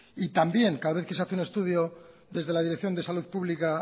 y también cada vez que se hace un estudio desde la dirección de salud pública